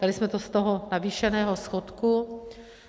Dali jsme to z toho navýšeného schodku.